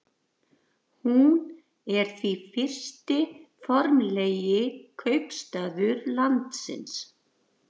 hún er því fyrsti formlegi kaupstaður landsins